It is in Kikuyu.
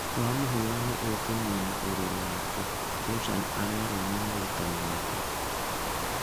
Wamũhũra nĩ ũkũnina ũruru wake, Joshan arerwo nĩ mũrutani wake.